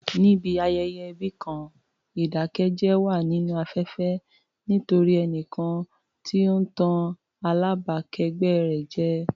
Níbi ayẹyẹ ẹbí kan, ìdákẹ́jẹ́ wà nínú afẹ́fẹ́ nítorí ẹnìkan tí ó ń tàn alábàákẹ́gbẹ́ rẹ̀ jẹ.